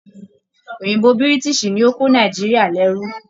Òyìnbó Biritiisi ni o ko Nàìjíríà l'ẹru.